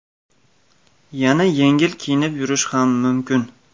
Yana yengil kiyinib yurish ham mumkin.